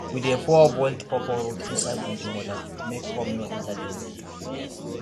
we dey pour boiled pawpaw root inside drinking water make worm no enter dem body